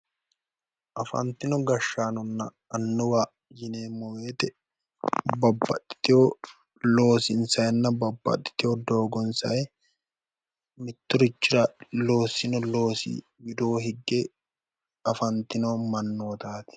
Afantino gashaanonna annuwa yineemo woyite babbaxitewo loosinisayinna babbaxitewo doogonisayi Mitturichira loosinno loosi widoo higge afantino mannootaati